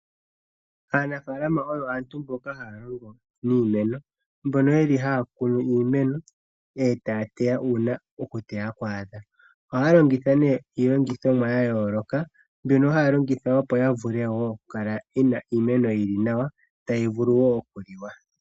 Aanafaalama oyo aantu mboka haya longo niimeno mbono yeli haya kunu iimeno etaya teya uuna okuteya kwaadha. Ohaya longitha nee iilongithomwa ya yooloka mbyono haya longitha, opo ya vule wo oku kala yena iimeno iiwanawa tayi vulu wo okuliwa.